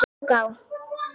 Það tók á.